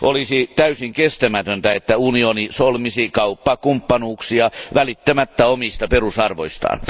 Olisi täysin kestämätöntä, että unioni solmisi kauppakumppanuuksia välittämättä omista perusarvoistaan.